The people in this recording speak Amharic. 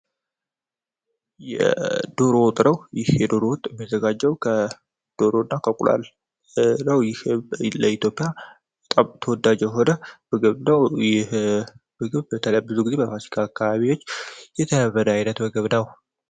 የዶሮ ወጥ ነው ይህ የዶሮ ወጥ የሚዘጋጀው ከዶሮ እና ከእንቁላል ነው ይህ ለኢትዮጵያ በጣም ተወዳጀ የሆነ ምግብ ነው ይህ ምግብ በተለይ ጊዜ በፋሲጋ አካባቢዎች የተለመደ አይነት ምግብ ነው።